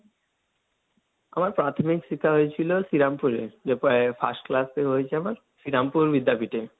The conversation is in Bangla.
আমার প্রাথমিক শিক্ষা হয়েছিল শ্রীরামপুরে, যে প্রায় ফার্স্ট ক্লাসে হয়েছে আমার, শ্রীরামপুর বিদ্যাপীঠে।